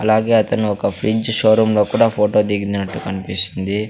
అలాగే అతను ఒక ఫ్రెంచ్ షో రూమ్లో కూడా ఫోటో దిగినట్టు కనిపిస్తుంది.